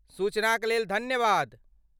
सूचनाक लेल धन्यवाद।